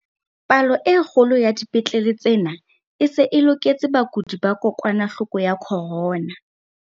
Palo e kgolo ya dipetlele tsena e se e loketse bakudi ba kokwanahloko ya corona.